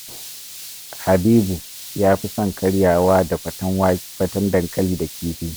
Habibu ya fi son karyawa da faten dankali da kifi